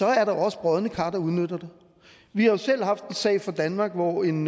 er der også brodne kar der udnytter det vi har jo selv haft en sag i danmark hvor en